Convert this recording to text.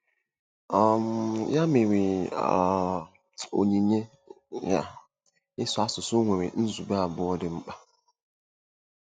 um Ya mere, um onyinye um ịsụ asụsụ nwere nzube abụọ dị mkpa.